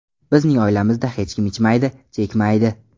Bizning oilamizda hech kim ichmaydi, chekmaydi.